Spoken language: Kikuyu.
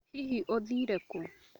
Hihi ũthire kũ?